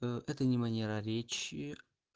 ээ это не манера речи